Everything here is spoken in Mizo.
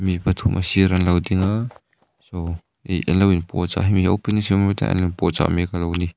mi pathum a sirah anlo ding a saw iih anlo in puahchah hemi hi opening ceremony tah hian inpuahchak mek alo ni.